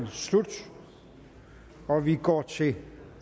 slut og vi går til